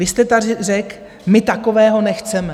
Vy jste tady řekl: my takového nechceme.